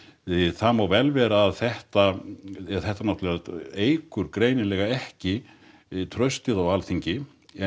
það má vel vera að þetta eða þetta náttúrulega eykur greinilega ekki traustið á Alþingi en